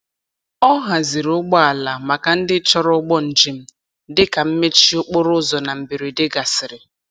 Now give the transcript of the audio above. Ọ haziri ụgbọala maka ndị chọrọ ụgbọ njem dị ka mmechi okporoụzọ na mberede gasịrị.